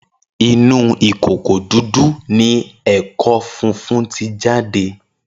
Inon ukoko didun owo eko fifun ti jade